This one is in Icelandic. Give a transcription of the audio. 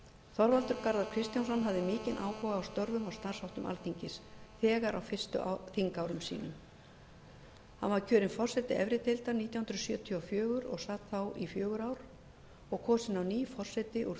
þorvaldur garðar kristjánsson hafði mikinn áhuga á störfum og starfsháttum alþingis þegar á fyrstu þingárum sínum hann var kjörinn forseti efri deildar nítján hundruð sjötíu og fjögur og sat þá í fjögur ár og kosinn á ný forseti úr